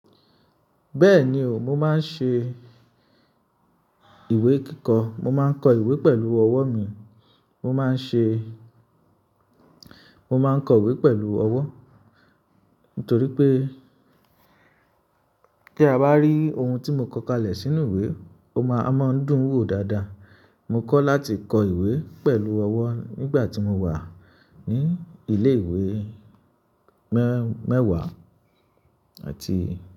Bẹ́ẹ̀ni o mo máa ń ṣe ìwé kíkọ́, mo máa ń kọ ìwé pẹ̀lú ọwọ́ mi, mo máa ń ṣe, mo máa ń kọwé pẹ̀lú ọwọ́ torí pé tí a bá rí oun tí mo kọ kalẹ̀ sínú ìwé, ó máa, a máa ń dùn wo dáadáa. Mo kọ́ láti kọ ìwé pẹ̀lú ọwọ́ nígbà tí mo wà ní ilé ìwé mẹ́-mẹ́wàá àti.